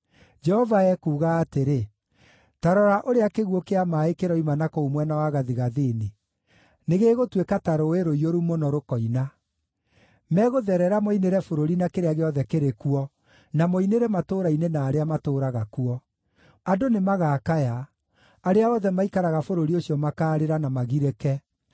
Jehova ekuuga atĩrĩ: “Ta rora ũrĩa kĩguũ kĩa maaĩ kĩroima na kũu mwena wa gathigathini; nĩgĩgũtuĩka ta rũũĩ rũiyũru mũno, rũkoina. Megũtherera moinĩre bũrũri na kĩrĩa gĩothe kĩrĩ kuo, na moinĩre matũũra-inĩ na arĩa matũũraga kuo. Andũ nĩmagakaya; arĩa othe maikaraga bũrũri ũcio makaarĩra na magirĩke,